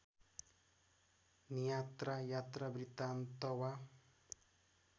नियात्रा यात्रावृत्तान्त वा